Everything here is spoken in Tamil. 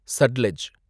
சட்லெஜ்